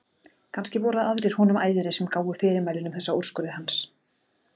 Kannski voru það aðrir honum æðri sem gáfu fyrirmælin um þessa úrskurði hans.